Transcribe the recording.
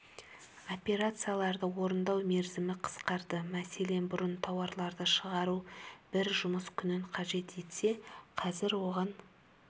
операцияларды орындау мерзімі қысқарды мәселен бұрын тауарларды шығару бір жұмыс күнін қажет етсе қазір оған